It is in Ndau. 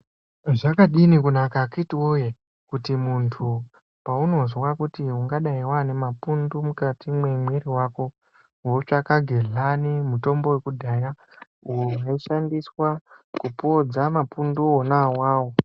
Zvakadini kunaka kuti akiti woyee, kuti muntu paunozwa kuti ungadai wanemapundu mukati memuiri wako wotsvaka gedlani mutombo wekudhaya unoshandiswa kupodza mapundu wonaiwawo.